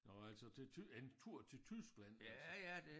Nåh altså til en tur til Tyskland altså